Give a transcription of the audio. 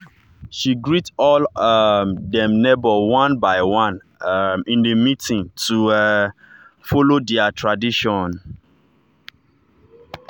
she greet all um dem neighbor one by one um in the meeting to um follow their tradition.